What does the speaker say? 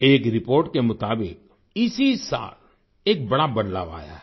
एक रिपोर्ट के मुताबिक इसी साल एक बड़ा बदलाव आया है